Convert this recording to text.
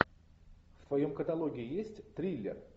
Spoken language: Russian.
в твоем каталоге есть триллер